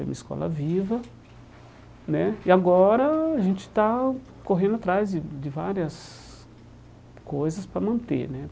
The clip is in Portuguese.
escola viva né E agora a gente está correndo atrás de de várias coisas para manter né.